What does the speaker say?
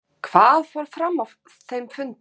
Lóa: Og hvað fór fram á þeim fundi?